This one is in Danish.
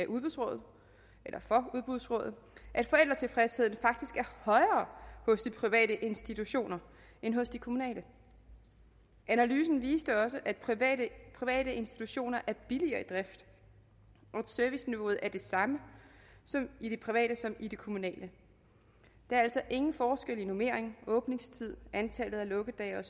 udbudsrådet at forældretilfredsheden faktisk er højere hos de private institutioner end hos de kommunale analysen viste også at private private institutioner er billigere i drift og at serviceniveauet er det samme i de private som i de kommunale der er altså ingen forskel i normering åbningstid antallet af lukkedage